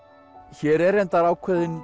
hér er reyndar ákveðinn